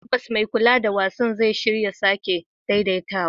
Tabbas, mai kula da wasan zai shirya sake daidaitawa.